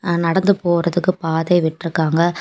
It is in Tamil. ஆ நடந்து போறதுக்கு பாதை விட்டிருக்காங்க.